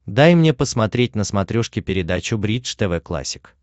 дай мне посмотреть на смотрешке передачу бридж тв классик